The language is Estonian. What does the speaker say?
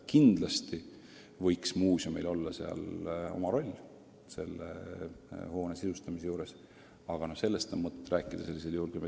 Kindlasti võiks muuseumil olla oma osa kas või selle hoone sisustamisel, aga sellest on mõtet rääkida hiljem.